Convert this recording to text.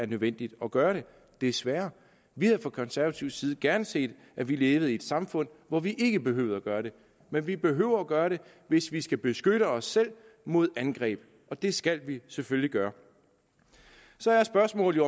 nødvendigt at gøre det desværre vi havde fra konservativ side gerne set at vi levede i et samfund hvor vi ikke behøvede at gøre det men vi behøver at gøre det hvis vi skal beskytte os selv mod angreb og det skal vi selvfølgelig gøre så er spørgsmålet